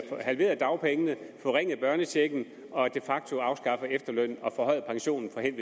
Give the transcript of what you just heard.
halveret dagpengene forringet børnechecken og de facto afskaffer efterlønnen og forhøjer pensionsalderen